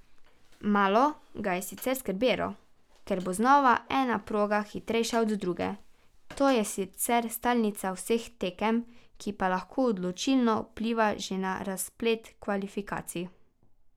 Malo ga je sicer skrbelo, ker bo znova ena proga hitrejša od druge, to je sicer stalnica vseh tekem, ki pa lahko odločilno vpliva že na razplet kvalifikacij.